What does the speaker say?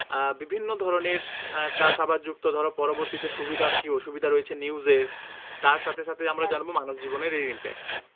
আহ বিভিন্ন ধরণের আহ চাষাবাদ যুক্ত ধরো পরবর্তীতে সুবিধা কি ও সুবিধা রয়েছে news এ তার সাহে সাথে আমরা জানবো মানুষজীবনের এই impact